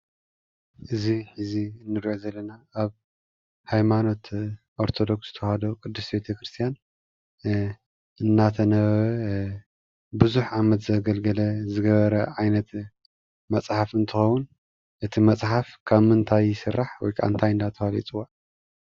እዚ እዚ እንሪኦ ዘለና አብ ሃይማኖት አርቶዶክስ ተዋህዶ ቅድስት ቤተ ክርስትያን እናተነበበ ብዝሕ ዓመት ዘገልግለ ዝገበረ ዓይነት መፅሓፍ እንትኸውን እቲ መፅሓፍ ካብ ምንታይ ይስራሕ ወይ ከዓ እንታይ እናተባህለ ይፅዋዕ?